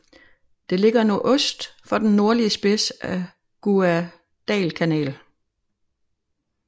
Det ligger nordøst for den nordlige spids af Guadalcanal